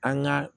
An ka